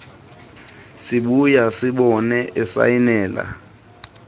sibuya simbone esayinela